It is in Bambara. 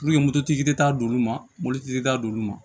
moto tigi de t'a d'olu ma mobilitigi t'a d'olu ma